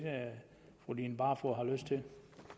fru line barfod har lyst til